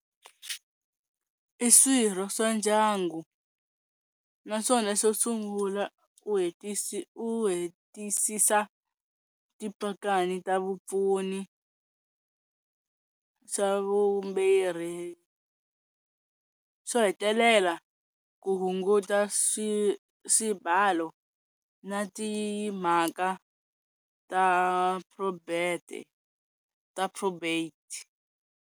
I swirho swa ndyangu naswona xo sungula u u hetisisa tipakani ta vupfuni, xa vumbhiri xo hetelela ku hunguta swi swibalo na timhaka ta ta probate.